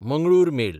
Mangalore mail